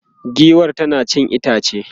giwar tana cin itace